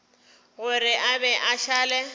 gore a be a šale